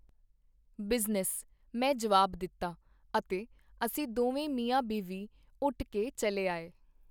Business, ਮੈਂ ਜੁਆਬ ਦਿਤਾ, ਅਤੇ ਅਸੀਂ ਦੋਵੇਂ ਮੀਆਂਬੀਵੀ ਉੱਠ ਕੇ ਚੱਲੇ ਆਏ.